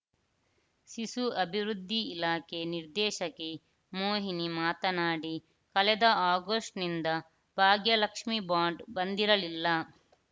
ಶಿಶು ಅಭಿವೃದ್ಧಿ ಇಲಾಖೆ ನಿರ್ದೇಶಕಿ ಮೋಹಿನಿ ಮಾತನಾಡಿ ಕಳೆದ ಆಗಸ್ಟ್‌ನಿಂದ ಭಾಗ್ಯ ಲಕ್ಷ್ಮಿ ಬಾಂಡ್‌ ಬಂದಿರಲಿಲ್ಲ